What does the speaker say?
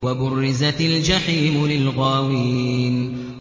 وَبُرِّزَتِ الْجَحِيمُ لِلْغَاوِينَ